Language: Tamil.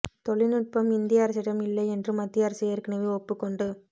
தொழில்நுட்பம் இந்திய அரசிடம் இல்லை என்று மத்திய அரசு ஏற்கனவே ஒப்புக்கொண்டு